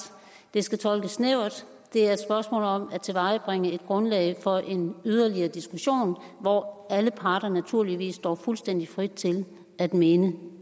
det skal tolkes snævert det er et spørgsmål om at tilvejebringe et grundlag for en yderligere diskussion hvor alle parter naturligvis står fuldstændig frit til at mene